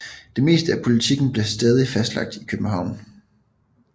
Det meste af politikken blev stadig fastlagt i København